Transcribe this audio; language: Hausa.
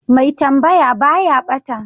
mai tambaya baya bata